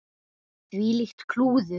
Þvílíkt klúður.